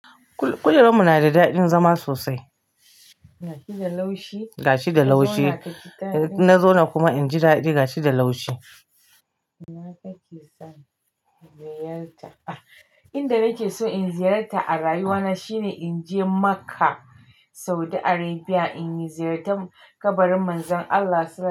Kujeranmu na da daɗin zama sosai. Kujeranmu na da daɗin zama sosai. Ga shi da laushi. Ga shi da laushi. Ina kake son ziyarta? Inda nake so in ziyarta a rayuwana shine in je Makka, Saudi Arabia in yi ziyartar kabarin Manzon Allah.